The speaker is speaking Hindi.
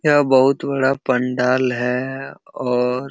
यहाँ बहोत बड़ा पंडाल है और --